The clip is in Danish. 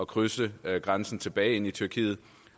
krydse grænsen tilbage ind i tyrkiet